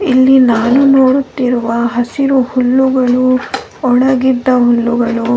ಇಲ್ಲಿ ನಾನು ನೋಡುತ್ತಿರುವ ಹಸಿರು ಹುಲ್ಲುಗಳು ಒಣಗಿದ ಹುಲ್ಲುಗಳು --